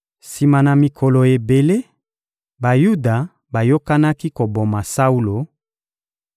Sima na mikolo ebele, Bayuda bayokanaki koboma Saulo;